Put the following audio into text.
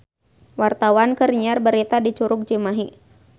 Wartawan keur nyiar berita di Curug Cimahi